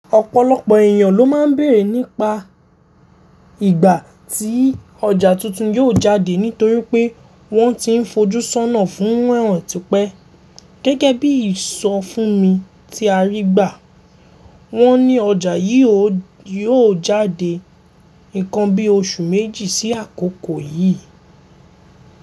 Ọ̀pọ̀lọpọ̀ èèyàn ló ma ń bẹ̀rẹ̀ nípa ìgbà tí ọjà tuntun yóò jáde nítorí pé wọ́n ti ń fojú sọ́nà fún ràn ti pẹ́. Gẹ́gẹ́ bí ìsọfúnmi tí a rí gbà, wọ́n ní ọjà yìí yóò jáde ǹkan bí oṣù méjì sí àkókò yìí.